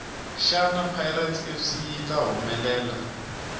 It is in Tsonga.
shana pirates fc yita hhumelela